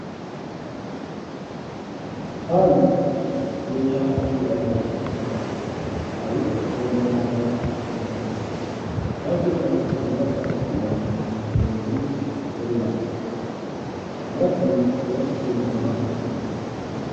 Faayi meeshaa miidhaginaati. Faayis gosa garaa garaatu jira. Isaan keessaas kanneen akka amartii, lootii fi qubeellaadha. Amartiin eessatti keewwatamaa?